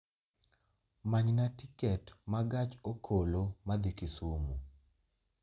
Manyna tiket ma gach okoloma dhi Kisumu